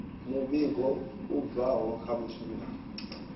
muvhigo i bvaho kha mushumeli